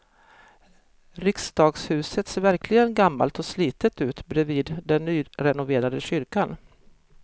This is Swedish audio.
Riksdagshuset ser verkligen gammalt och slitet ut bredvid den nyrenoverade kyrkan.